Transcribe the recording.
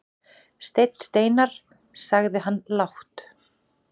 Steinn Steinarr, sagði hann lágt.